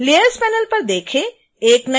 layers panel देखें